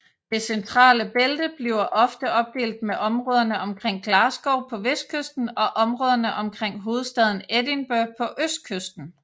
Det centrale bælte bliver ofte opdelt med områderne omkring Glasgow på vestkysten og områderne omkring hovedstaden Edinburgh på østkysten